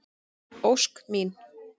Ósk mín.